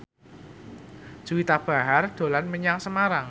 Juwita Bahar dolan menyang Semarang